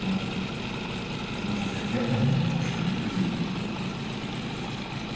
может может и впрямь нет у него в школе друзей